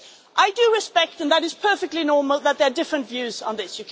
I do respect and that is perfectly normal that there are different views on this.